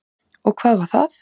Og hvað var það?